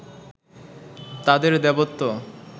তাঁদের দেবত্ব